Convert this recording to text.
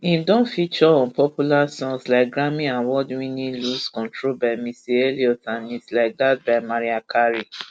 im don feature on popular songs like grammy awardwinninglose controlby missy elliott andits like thatby mariah carey